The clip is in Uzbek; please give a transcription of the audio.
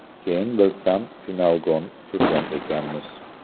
Keyin bilsam «Finalgon» surgan ekanmiz.